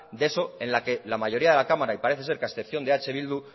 de eso en la que la mayoría de la cámara y parece ser que a excepción de eh bildu